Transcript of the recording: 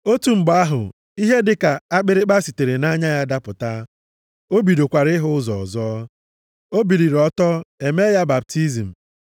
Otu mgbe ahụ, ihe dịka akpịrịkpa sitere nʼanya ya dapụta, o bidokwara ịhụ ụzọ ọzọ. O biliri ọtọ, e mee ya baptizim.